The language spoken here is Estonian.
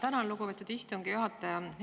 Tänan, lugupeetud istungi juhataja!